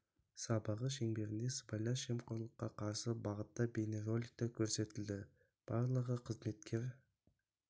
сабағы шеңберінде сыбайлас жемқорлыққа қарсы бағытта бейнероликтер көрсетілді барлығы қызметкер